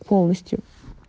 полностью